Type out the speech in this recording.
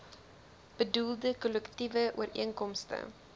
bedoelde kollektiewe ooreenkomste